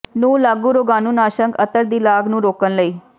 ਨੂੰ ਲਾਗੂ ਰੋਗਾਣੂਨਾਸ਼ਕ ਅਤਰ ਦੀ ਲਾਗ ਨੂੰ ਰੋਕਣ ਲਈ